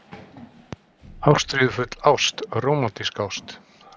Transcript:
ÁSTRÍÐUFULL ÁST- RÓMANTÍSK ÁST